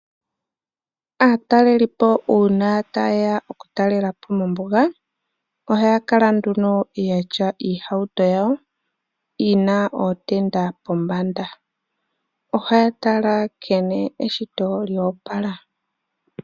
Aatalelipo uuna ta yeya oku talela po mombuga, oha ya kala nduno ya tya iihauto yawo yi na ootenda pombanda. Oha ya tala nkene eshito lyoopala.